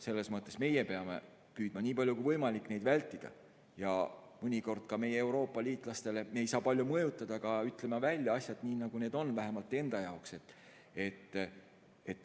Selles mõttes meie peame püüdma nii palju kui võimalik neid vältida ja mõnikord ka meie Euroopa liitlastele, keda me ei saa küll palju mõjutada, ütlema siiski välja asjad nii, nagu need on, vähemalt enda jaoks.